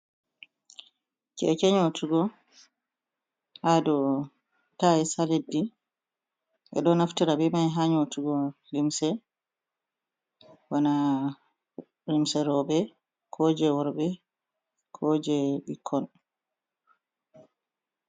Keke nyotugo haa dow tayis haa leddi. Ɓeɗo naftira be mai haa nyotugo limse. Bana limse roɓe, ko je worɓe, ko je ɓikkon.